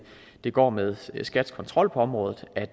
det går med skats kontrol på området at